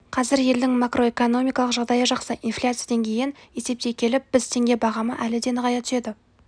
қазір елдің макроэкономикалық жағдайы жақсы инфляция деңгейін есептей келіп біз теңге бағамы әлі де нығая түседі